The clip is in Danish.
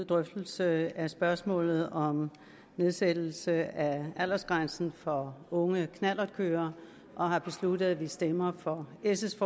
drøftelse af spørgsmålet om nedsættelse af aldersgrænsen for unge knallertkørere og har besluttet at vi stemmer for s’